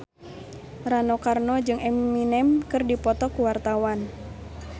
Rano Karno jeung Eminem keur dipoto ku wartawan